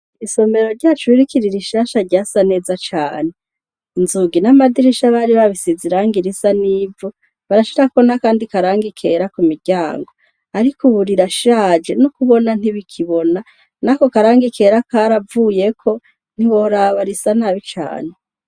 Isomero ryacu ririkirira ishasha rya sa neza cane inzugi n'amadirisha abari babisiziranga irisa n'ivo barashirako na, kandi karanga ikera ku miryango, ariko uburirashaje no kubona ntibikibona na ko karanga ikera karavuyeko ntiboraba risa n'abi cane.